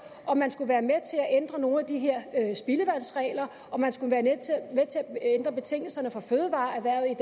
om man skulle være med til at ændre nogle af de her spildevandsregler om man skulle være med til at ændre betingelserne for til